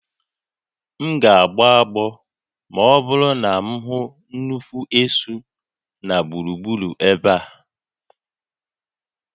M ga-agbọ agbọ ma ọ bụrụ na m hụ nnukwu esu na gburugburu ebe a